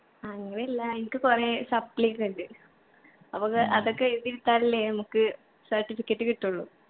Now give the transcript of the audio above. അങ്ങനല്ല എനിക്ക് കൊറേ supply ഒക്കെ ഇണ്ട് അപ്പൊ ഒക്കെ അതൊക്കെ എഴുതി എടുത്താലല്ലേ നമ്മുക്ക് certificate കിട്ടുള്ളു